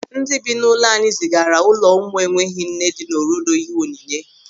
Ndị bi n'ụlọ anyị zigara ụlọ ụmụ enweghị nne dị n'Orodo ihe onyinye.